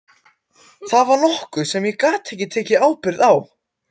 Það var nokkuð sem ég gat ekki tekið ábyrgð á.